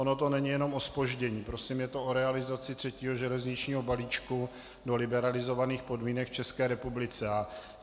Ono to není jenom o zpoždění, prosím, je to o realizaci třetího železničního balíčku do liberalizovaných podmínek v České republice.